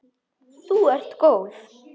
Þú ert góð!